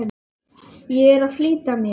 Ég er að flýta mér!